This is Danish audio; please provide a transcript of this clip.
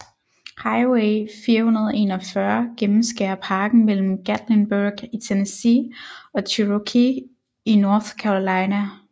Highway 441 gennemskærer parken mellem Gatlinburg i Tennessee og Cherokee i North Carolina